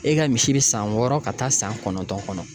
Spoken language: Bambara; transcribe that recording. E ka misi be san wɔɔrɔ ka taa san kɔnɔntɔn kɔnɔ.